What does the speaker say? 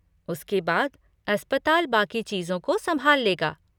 उसके बाद, अस्पताल बाकी चीज़ों को संभाल लेगा।